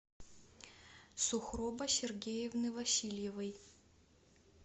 сухроба сергеевны васильевой